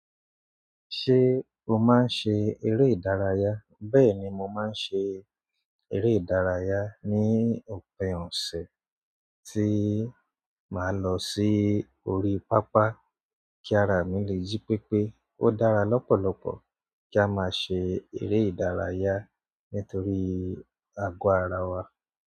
Ṣé o máa ń ṣe eré ìdárayá? Bẹ́ẹ̀ni, mo máa ń ṣe eré ìdárayá ní òpin òsẹ̀ tí màá lọ sí orí pápá. Kí a rà mí lè jí pépé. Ó dára lọ́pọ̀lọpọ̀ kí a máa ṣe eré ìdárayá nítorí àgọ́ ara wa.